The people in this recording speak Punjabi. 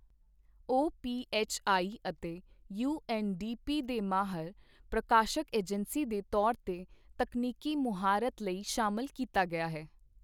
ਓਪੀਐੱਚਆਈ ਅਤੇ ਯੂਐੱਨਡੀਪੀ ਦੇ ਮਾਹਰ, ਪ੍ਰਕਾਸ਼ਕ ਏਜੰਸੀ ਦੇ ਤੌਰ ਤੇ ਤਕਨੀਕੀ ਮੁਹਾਰਤ ਲਈ ਸ਼ਾਮਲ ਕੀਤਾ ਗਿਆ ਹੈ।